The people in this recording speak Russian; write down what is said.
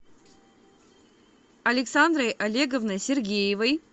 александрой олеговной сергеевой